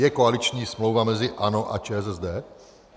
Je koaliční smlouva mezi ANO a ČSSD.